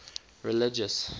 religious